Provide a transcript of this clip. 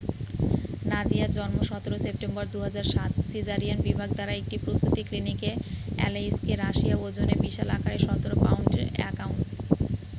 নাদিয়া জন্ম ১৭ সেপ্টেম্বর ২০০৭,সিজারিয়ান বিভাগ দ্বারা একটি প্রসূতি ক্লিনিকে আলেইস্কে, রাশিয়া ওজনে বিশাল আকারের ১৭ পাউন্ড ১ আউন্স।